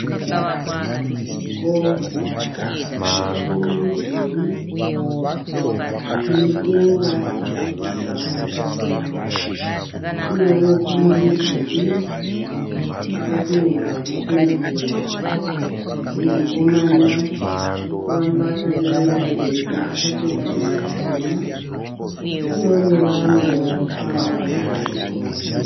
Chikoro chinemidhuri inedenga rebhurauni, uyewo panemudhuri wakapendewa nependi chena, panemukomana arikufamba akabereka bhegi akapfeka zvinhu zvitema uye nevamwe varikufamba vachienda ikoko.